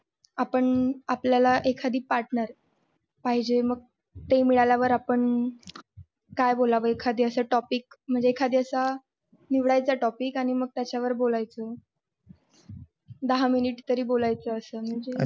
आपण आपल्या ला एखादी partner पाहिजे, मग ते मिळल्या वर आपण काय बोलावे एकादी असा topic म्हणजे असा एखादी निवड्याचा topic मग त्याच्या वरबोलायचं. दहा minute तरी बोलायच असत.